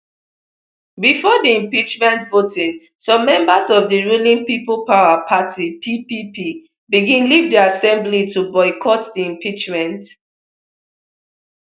bifor di impeachment voting some members of di ruling people power party ppp begin leave di assembly to boycott di impeachment